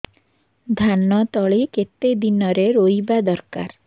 ଧାନ ତଳି କେତେ ଦିନରେ ରୋଈବା ଦରକାର